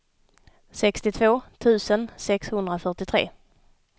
sextiotvå tusen sexhundrafyrtiotre